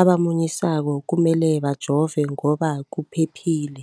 abamunyisako kumele bajove ngoba kuphephile.